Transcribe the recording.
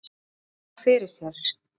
Hann virti hana fyrir sér.